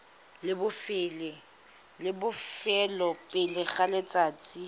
la bofelo pele ga letsatsi